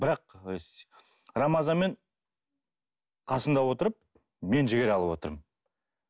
бірақ рамазанмен қасында отырып мен жігер алып отырмын